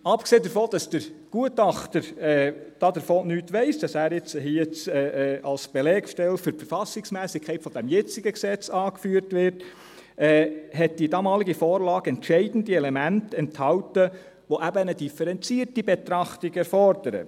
Abgesehen davon, dass der Gutachter nichts davon weiss, dass er nun als Belegstelle für die Verfassungsmässigkeit des jetzigen Gesetzes angeführt wird, enthielt die damalige Vorlage entscheidende Elemente, welche eine differenzierte Betrachtung erfordern.